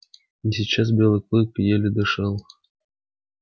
но сейчас белый клык еле дышал